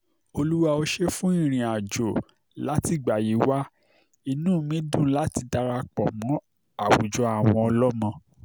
olúwa ó ṣe é fún ìrìnàjò látìgbà yìí wá inú mi dùn láti darapọ̀ mọ́ àwùjọ àwọn ọlọ́mọ